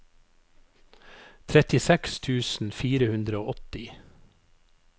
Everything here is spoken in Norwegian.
trettiseks tusen fire hundre og åtti